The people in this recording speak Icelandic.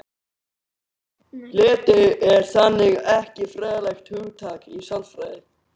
Leti er þannig ekki fræðilegt hugtak í sálfræði.